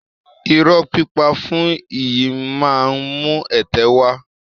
Irọ́ pípa fún iyì máa ń mú ẹ̀tẹ́ wá